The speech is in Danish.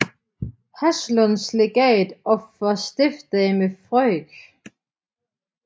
Haslunds Legat og for Stiftsdame Frk